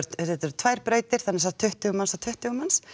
þetta eru tvær brautir semsagt tuttugu manns og tuttugu manns